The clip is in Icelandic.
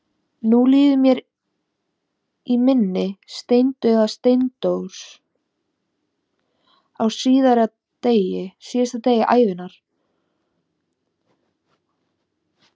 Nú líður mér í minni steindauður Steindór, á síðasta degi ævinnar, fölur að borða rjómatertu.